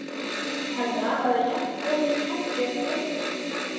Hann raðaði jafnóðum hefluðum borðunum í stafla.